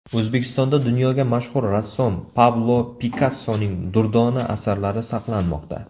O‘zbekistonda dunyoga mashhur rassom Pablo Pikassoning durdona asarlari saqlanmoqda .